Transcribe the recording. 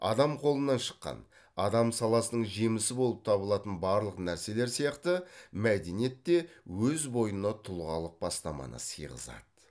адам қолынан шыққан адам саласының жемісі болып табылатын барлық нәрселер сияқты мәдениет те өз бойына тұлғалық бастаманы сыйғызады